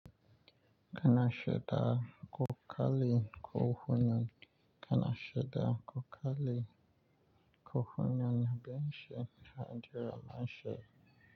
Kana shida ko kali ko hunyan, kana shida ko kali ko hunyan, ya baishe ha jiran mashai.